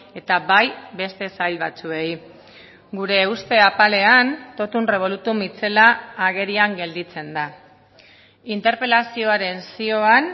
eta bai beste sail batzuei gure uste apalean totum revolutum itzela agerian gelditzen da interpelazioaren zioan